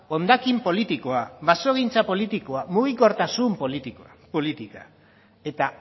hondakin politikoa basogintza politikoa mugikortasun politika eta